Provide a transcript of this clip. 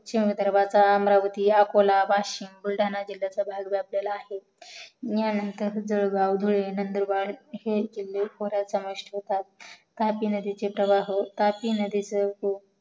अमरावती अकोला बुलढाणा जिल्ह्यातील घातलेला आहे हयनातर जळगाव धुळे नंदुरबार हे तापी नदीचे प्रवाह तापी नदीचा जो